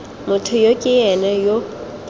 motho yo ke ena yo